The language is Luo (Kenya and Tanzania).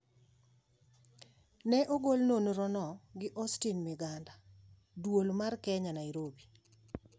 Ne ogol nonrono gi Austine Miganda, Duol mar Kenya, Nairobi.